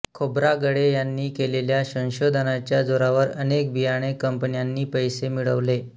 खोब्रागडे यांनी केलेल्या संशोधनाच्या जोरावर अनेक बियाणे कंपन्यांनी पैसे मिळवले